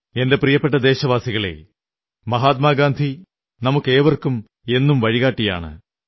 എന്റെ പ്രിയപ്പെട്ട ദേശവാസികളേ മഹാത്മാഗാന്ധി നമുക്കേവർക്കും എന്നും വഴികാട്ടിയാണ്